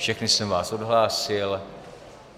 Všechny jsem vás odhlásil.